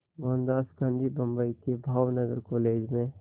मोहनदास गांधी बम्बई के भावनगर कॉलेज में